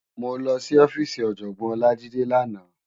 Mó lòsí òfisí Òjògbòn Olajide làná